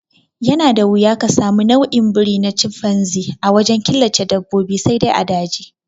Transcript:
Yana da wuya ka sami nau'in biri na canfanzi a wajen killace dabbobi sai dai a daji